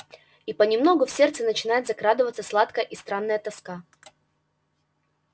и понемногу в сердце начинает закрадываться сладкая и странная тоска